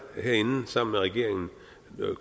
herinde sammen med regeringen